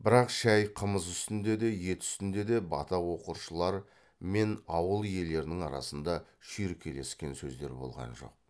бірақ шай қымыз үстінде де ет үстінде де бата оқыршылар мен ауыл иелерінің арасында шүйіркелескен сөздер болған жоқ